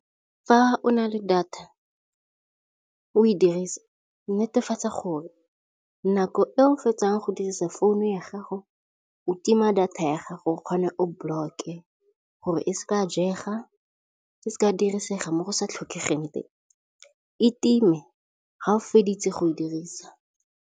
Fa o na le data o e dirisa netefatsa gore nako e o fetsang go dirisa founu ya gago o tima data ya ga gore o kgone o block-e gore e se ka jega e se ka dirisega mo go sa tlhokegeng teng e time ga o feditse go e dirisa.